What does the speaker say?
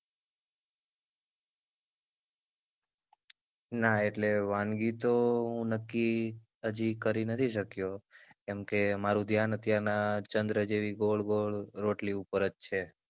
ના એટલે વાનગી તો હું નક્કી હજી કરી નથી શક્યો કેમ કે મારૂ ધ્યાન અત્યાર ના ચંદ્ર જેવી ગોળ ગોળ રોટલી ઉપર જ છે.